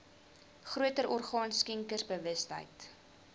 groter orgaan skenkersbewustheid